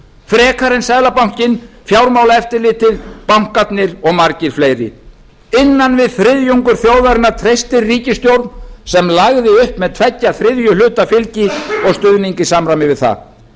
frekar en seðlabankinn fjármálaeftirlitið bankarnir og margir fleiri innan við þriðjungur þjóðarinnar treystir ríkisstjórn sem lagði upp með tveggja þriðju hluta fylgi og stuðning í samræmi við það